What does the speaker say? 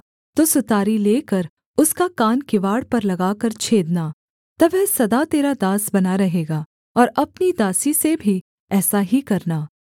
तो सुतारी लेकर उसका कान किवाड़ पर लगाकर छेदना तब वह सदा तेरा दास बना रहेगा और अपनी दासी से भी ऐसा ही करना